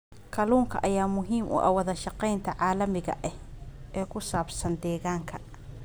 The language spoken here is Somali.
Kalluunka ayaa muhiim u ah wada sheekeysiga caalamiga ah ee ku saabsan deegaanka.